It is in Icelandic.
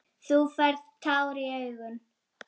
Þú færð tár í augun.